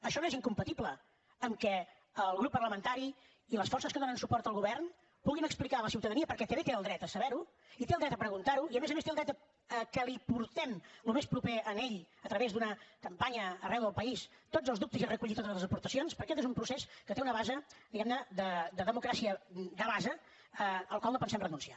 això no és incompatible amb que el grup parlamentari i les forces que donen suport al govern puguin explicar a la ciutadania perquè també té el dret a saber ho i té el dret a preguntar ho i a més a més té el dret a que l’hi portem al més proper a ell a través d’una campanya arreu del país tots els dubtes i a recollir totes les aportacions perquè aquest és un procés que té una base diguem ne de democràcia de base al qual no pensem renunciar